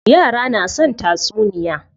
Yara na son tatsuniya.